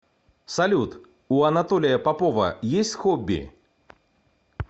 салют у анатолия попова есть хобби